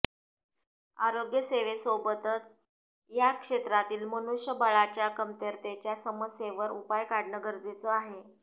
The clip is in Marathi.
आरोग्यसेवेसोबत या क्षेत्रातील मनुष्यबळाच्या कमतरतेच्या समस्येवर उपाय काढणं गरजेचं आहे